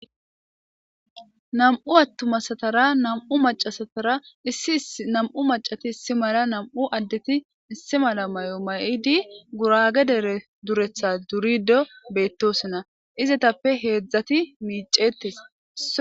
nam7u attumasatara nam7u macasatara issi nam7u macati issi mala nam7u addeti issi mala may7o mayidi gurage dere duretha durido beettosinna izetappe heedzdzati miicetes